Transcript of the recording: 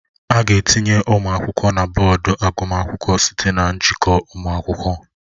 A ga-etinye ụmụ akwụkwọ na bọọdụ agụmakwụkwọ site na njikọ ụmụ akwụkwọ